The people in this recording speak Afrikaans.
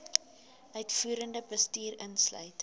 uitvoerende bestuur insluit